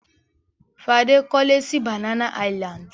Fadé kọ́lé sí Banana Island.